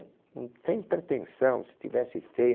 Sem pretensão, se tivesse feia.